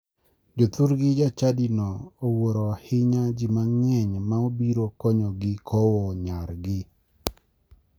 Jothurgi jachadino ne owuro ahinya ji mang'eny ma obiro konyogo kowo nyargi.